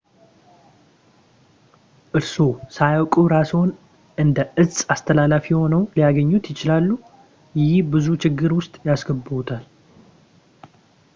እርስዎ ሳያውቁ እራስዎን እንደ እጽ አስተላላፊ ሆነው ሊያገኙት ይችላሉ ይህም ብዙ ችግር ውስጥ ያስገባዎታል